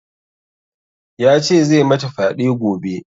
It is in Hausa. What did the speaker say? Ya ce zai mata fyaɗe gobe